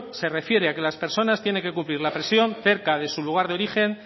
se refiere a que las personas tienen que cumplir la presión cerca de su lugar de origen